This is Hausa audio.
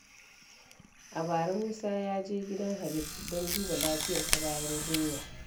A bara, Musa ya je gidan Habib don duba lafiyarsa bayan jinya.